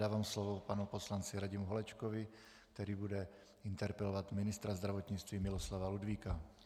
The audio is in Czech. Dávám slovu panu poslanci Radimu Holečkovi, který bude interpelovat ministra zdravotnictví Miloslava Ludvíka.